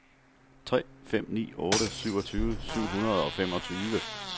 tre fem ni otte syvogtyve syv hundrede og femogtyve